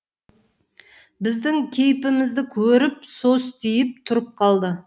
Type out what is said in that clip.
біздің кейпімізді көріп состиып тұрып қалды